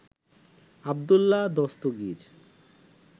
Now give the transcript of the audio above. Abdullah Dastagir